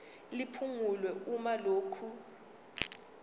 liphungulwe uma lokhu